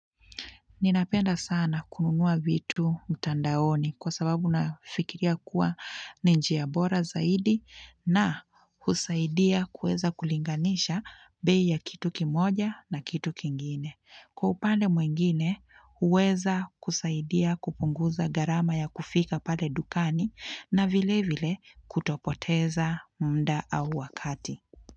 Ninapenda sana kununua vitu mtandaoni kwa sababu nafikiria kuwa ni njia bora zaidi na husaidia kuweza kulinganisha bei ya kitu kimoja na kitu kingine. Kwa upande mwingine huweza kusaidia kupunguza gharama ya kufika pale dukani na vile vile kutopoteza muda au wakati.